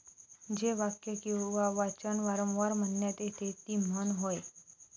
जे वाक्य किंवा वाचन वारंवार म्हणण्यात येते ती 'म्हण'होय.